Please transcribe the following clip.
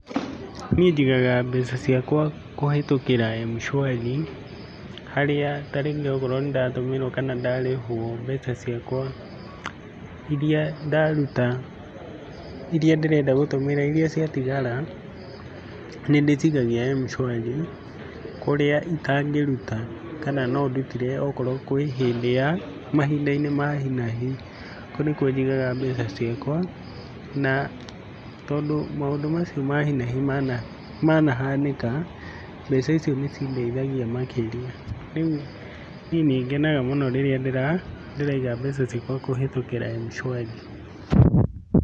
Niĩ njigaga mbeca ciakwa kũhĩtũkĩra Mshwari, harĩa ta rĩngĩ okorwo nĩndatũmĩrwo kana ndarĩhwo mbeca ciakwa iria ndaruta iria ndĩrenda gũtũmĩra, iria ciatigara nĩndĩcikagia Mshwari kũrĩa itangĩruta kana no ndutire okorwo kwĩ hĩndĩ ya mahinda-inĩ ma hi na hi, kũu nĩkuo njigaga mbeca ciakwa, na tondũ maũndũ macio ma hi na hi manahanĩka, mbeca icio nĩcindeithagia makĩria. Rĩu niĩ nĩngenaga mũno rĩrĩa ndĩraiga mbeca ciakwa kũhĩtũkĩra Mshwari.